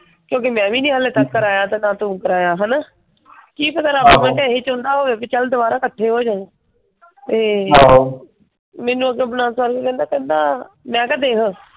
ਕਿਓਂਕਿ ਮੈਂ ਵੀ ਨੀ ਹਾਲੇ ਤੱਕ ਕਰਾਯਾ ਤੇ ਨਾ ਤੂੰ ਕਰੀਏ ਹੈਨਾ? ਕਿ ਪਤਾ ਰੱਬ ਨੂੰ ਇਹੀ ਚੁਣਨਾ ਹੋਏ ਬੀ ਚਲ ਦੁਬਾਰਾ ਇਕੱਠੇ ਹੋ ਜਾਇਏ। ਤੇ ਮੈਨੂੰ ਉਧਰੋਂ ਕਹਿੰਦਾ ਕਹਿੰਦਾ ਮੈਂ ਕਿਹਾ ਦੇਖ,